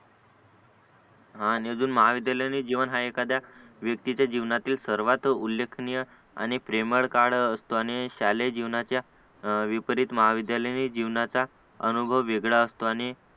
आणि अजून महाविद्यालयाने जीवन हा एखाद्या व्यक्तीच्या जीवनातील सर्वात उल्लेखनीय आणि प्रेमळ काळ असतो आणि शालेय जीवनाच्या विपरीत महाविद्यालयाने जीवनाचा अनुभव वेगळा असतो आणि